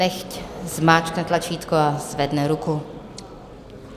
Nechť zmáčkne tlačítko a zvedne ruku.